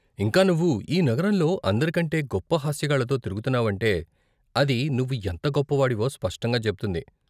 ఇంకా, నువ్వు ఈ నగరంలో అందరికంటే గొప్ప హాస్యగాళ్ళతో తిరుగుతున్నావంటే, అది నువ్వు ఎంత గొప్పవాడివో స్పష్టంగా చెబుతుంది.